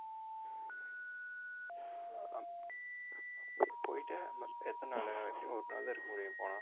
போயிட்டு நா~ எத்தனை நாளு ஒரு நாள்தான் இருக்க முடியும் போனா